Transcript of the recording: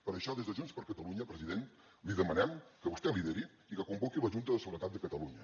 per això des de junts per catalunya president li demanem que vostè lideri i que convoqui la junta de seguretat de catalunya